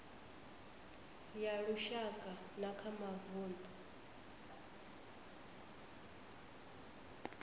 ya lushaka na kha mavundu